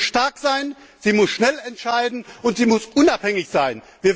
Sie muss stark sein, sie muss schnell entscheiden, und sie muss unabhängig sein.